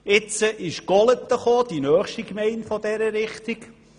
Dann kam Golaten, die nächste Gemeinde aus dieser Richtung.